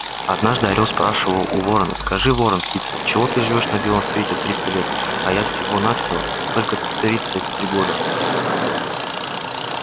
однажды орёл спрашивал у ворона скажи ворон-птица отчего ты живёшь на белом свете триста лет а я всего-на-все только тридцать три года